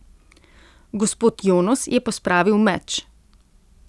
Gospod Jonos je pospravil meč.